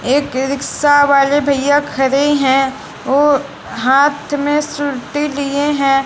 एक रिक्शा वाले भैया खड़े हैं वो हाथ में लिए हैं।